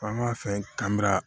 An b'a fɛn kanu